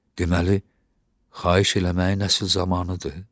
Deməli xahiş eləməyin əsil zamanıdır.